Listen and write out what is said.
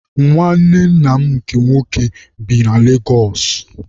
Nwanne nna m nke nwoke bi na Legosụ.